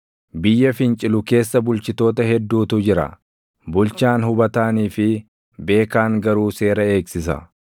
Biyya fincilu keessa bulchitoota hedduutu jira; bulchaan hubataanii fi beekaan garuu seera eegsisa.